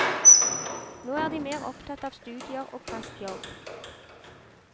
Nå er de mer opptatt av studier og fast jobb.